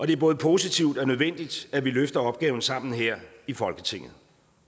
det er både positivt og nødvendigt at vi løfter opgaven sammen her i folketinget